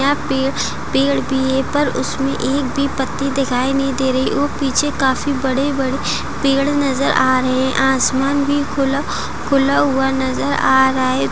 यहां पर पेड़ भी है पर उसमें एक भी पत्ती दिखाई नहीं दे रही हैऔर पीछे काफी बड़े-बड़े पेड़ नजर आ रहे हैंआसमान भी खुला खुला हुआ नजर आ रहा है।